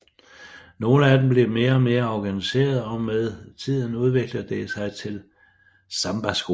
Nogle af dem bliver mere og mere organiserede og med tiden udvikler det sig til sambaskoler